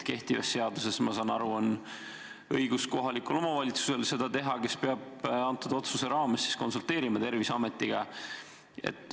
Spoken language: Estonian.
Kehtiva seaduse järgi, nagu ma aru saan, on see õigus kohalikul omavalitsusel, kes peab seda otsust tehes konsulteerima Terviseametiga.